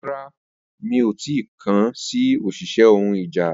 Rara, mi o ti kan si oṣiṣẹ ohun ìjà